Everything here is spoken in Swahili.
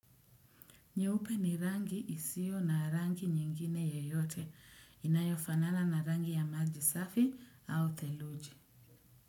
Nyeupe ni rangi isio na rangi nyingine yeyote. Inayofanana na rangi ya maji safi au theluji.